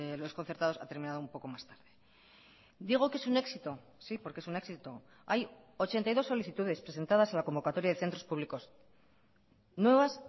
los concertados ha terminado un poco más tarde digo que es un éxito sí porque es un éxito hay ochenta y dos solicitudes presentadas en la convocatoria de centros públicos nuevas